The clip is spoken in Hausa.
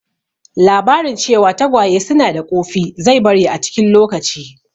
Labarin cewa tagwaye su na da ƙofi zai bari a cikin lokaci